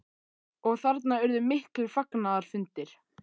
Og þarna urðu miklir fagnaðarfundir?